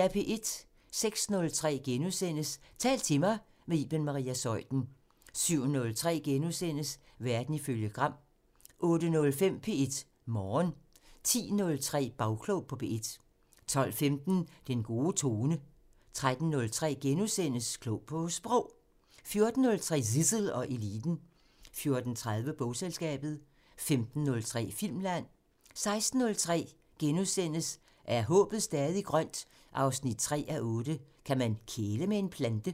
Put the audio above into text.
06:03: Tal til mig – med Iben Maria Zeuthen * 07:03: Verden ifølge Gram * 08:05: P1 Morgen 10:03: Bagklog på P1 12:15: Den gode tone 13:03: Klog på Sprog * 14:03: Zissel og Eliten 14:30: Bogselskabet 15:03: Filmland 16:03: Er håbet stadig grønt? 3:8 – Kan man kæle med en plante? *